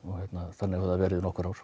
þannig hefur það verið í nokkur ár